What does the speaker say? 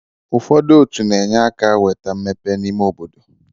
ụfọdụ otu na-enye aka weta mmepe n'ime obodo